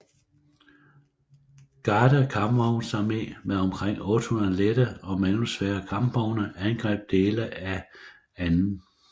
Garde kampvognsarmé med omkring 800 lette og mellemsvære kampvogne angreb dele af 2